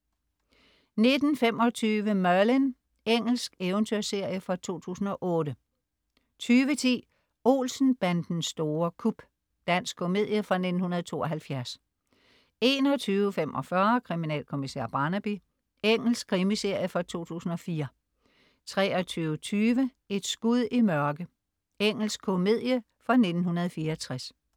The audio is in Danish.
19.25 Merlin. Engelsk eventyrserie fra 2008 20.10 Olsen-bandens store kup. Dansk komedie fra 1972 21.45 Kriminalkommissær Barnaby. Engelsk krimiserie fra 2004 23.20 Et skud i mørke. Engelsk komedie fra 1964